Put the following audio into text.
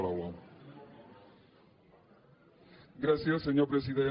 gràcies senyor president